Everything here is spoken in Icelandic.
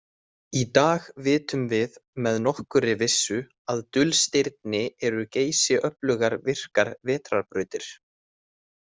Í dag vitum við með nokkurri vissu að dulstirni eru geysiöflugar virkar vetrarbrautir.